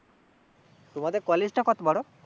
তোমাদের কলেজ টা কত বড়?